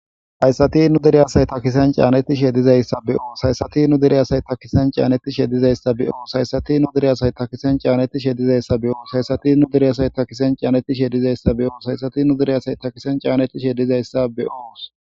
Hayssati nu deriyasay takisan caaneti shedizayssa be7oos haysati nu dereyasay takisen caaneti shedizayssa be7oos hayssati nu dereyasay takisen caaneti shedizayssa be7oos hayssati nu deriyasay takisen caanetti shedizayssa be7oos haysati nu deriyasay takisen caaneti shedizayssa be7oos.